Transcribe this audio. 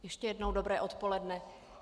Ještě jednou dobré odpoledne.